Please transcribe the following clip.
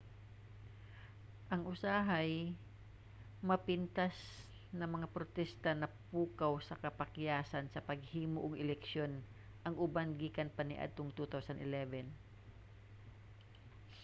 ang usahay-mapintas na mga protesta napukaw sa kapakyasan sa paghimo og eleksyon ang uban gikan pa kaniadtong 2011